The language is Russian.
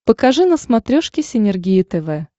покажи на смотрешке синергия тв